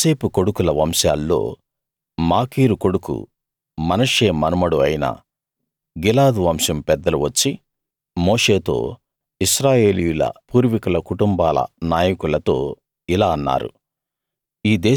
యోసేపు కొడుకుల వంశాల్లో మాకీరు కొడుకు మనష్షే మనమడు అయిన గిలాదు వంశం పెద్దలు వచ్చి మోషేతో ఇశ్రాయేలీయుల పూర్వీకుల కుటుంబాల నాయకులతో ఇలా అన్నారు